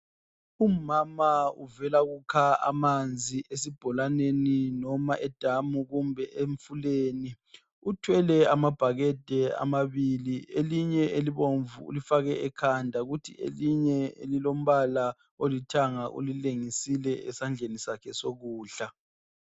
Umama uvela kukha amanzi esibholaneni noma edamu kumbe emfuleni uthwele amabhakede amabili elinye elibomvu ulifake ekhanda kuthi elinye elilombala olithanga ulilengisile esandleni sakhe sokudla.